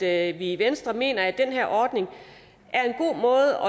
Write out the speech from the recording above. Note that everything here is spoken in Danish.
at vi i venstre mener at den her ordning er en god måde